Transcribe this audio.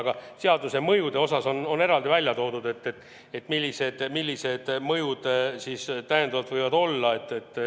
Aga seaduseelnõu mõjud on eraldi välja toodud, see, millised mõjud sel võivad olla.